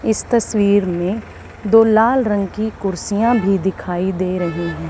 इस तस्वीर में दो लाल रंग की कुर्सियां भी दिखाई दे रही है।